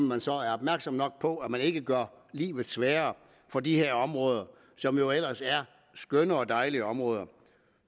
man så er opmærksom nok på at man ikke gør livet sværere for de her områder som jo ellers er skønne og dejlige områder